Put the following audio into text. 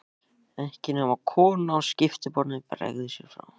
Ekki nema konan á skiptiborðinu bregði sér frá.